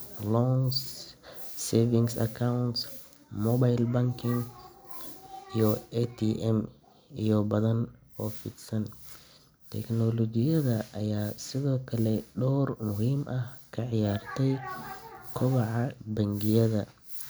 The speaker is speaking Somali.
oo lagu kaydiyo xogta codbixiyeyaasha, taas oo yaraynaysa khaladaadka iyo wax isdaba-marinta. Qof kastaa wuxuu helaa voter.